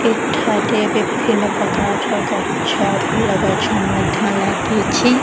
ଏଠାରେ ବିଭିନ୍ନ ପ୍ରକାର ଗଛ ଫୁଲ ଗଛ ମଧ୍ୟ ଲାଗିଛି ।